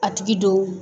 A tigi don